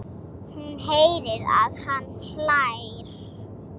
Hún heyrir að hann hlær.